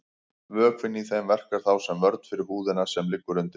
Vökvinn í þeim verkar þá sem vörn fyrir húðina sem liggur undir.